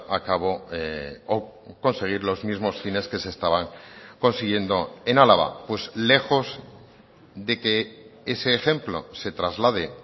acabo o conseguir los mismos fines que se estaban consiguiendo en álava pues lejos de que ese ejemplo se traslade